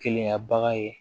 Keleya bagan ye